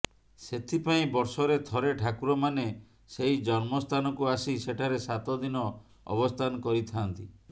ସେଥିପାଇଁ ବର୍ଷରେ ଥରେ ଠାକୁରମାନେ ସେହି ଜନ୍ମସ୍ଥାନକୁ ଆସି ସେଠାରେ ସାତଦିନ ଅବସ୍ଥାନ କରିଥାଆନ୍ତି